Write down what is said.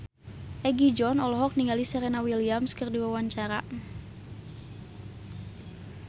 Egi John olohok ningali Serena Williams keur diwawancara